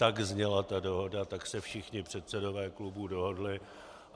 Tak zněla ta dohoda, tak se všichni předsedové klubů dohodli.